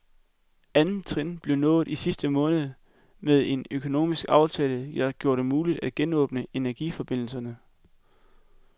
Andet trin blev nået i sidste måned med en økonomisk aftale, der gjorde det muligt at genåbne energiforbindelserne.